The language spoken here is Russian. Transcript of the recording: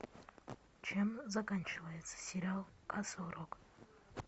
чем заканчивается сериал касл рок